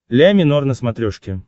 ля минор на смотрешке